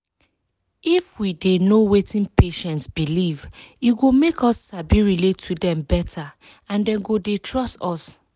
if we dey know wetin patients believe e go make us sabi relate to dem better and dem go dey trust us.